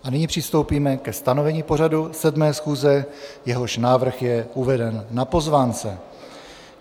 A nyní přistoupíme ke stanovení pořadu 7. schůze, jehož návrh je uveden na pozvánce.